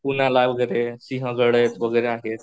पुण्याला वगैरे सिंहगड वगैरे आहे.